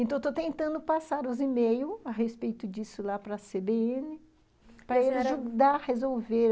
Então, eu estou tentando passar os e-mails a respeito disso lá para cê bê ene, para ele ajudar a resolver.